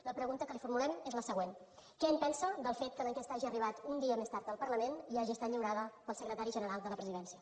la pregunta que li formulem és la següent què en pensa del fet que l’enquesta hagi arribat un dia més tard al parlament i hagi estat lliurada pel secretari general de la presidència